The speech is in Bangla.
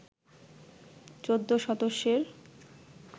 ১৪ সদস্যের